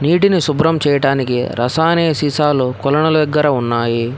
నీటిని శుభ్రం చేయటానికి రసాయనిక సీసాలు కొలను దగ్గర ఉన్నాయి.